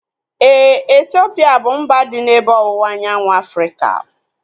Éè, Etiopia bụ mba dị n'ebe ọwụwa anyanwụ Afrịka